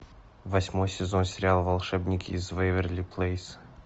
восьмой сезон сериал волшебники из вэйверли плэйс